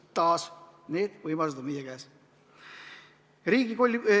Taas, need võimalused on meie käes.